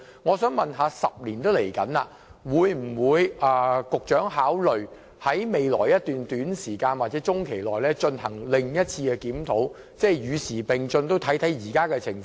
我想問，經過差不多10年時間，局長會否考慮在未來一段短時間進行另一次檢討，檢視現時的情況？